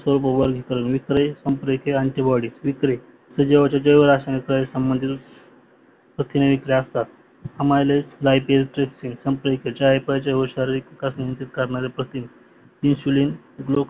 प्रथिन्याचे सह्भोगल वितरण